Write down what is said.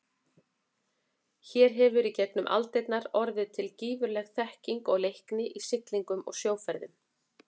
Hér hefur í gegnum aldirnar orðið til gífurleg þekking og leikni í siglingum og sjóferðum.